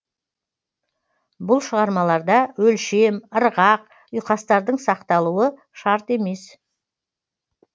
бұл шығармаларда өлшем ырғақ ұйқастардың сақталуы шарт емес